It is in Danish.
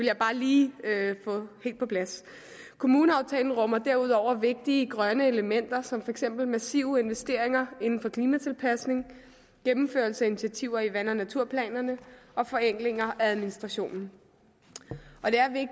jeg bare lige have helt på plads kommuneaftalen rummer derudover vigtige grønne elementer som for eksempel massive investeringer inden for klimatilpasning gennemførelse af initiativer i vand og naturplanerne og forenklinger af administrationen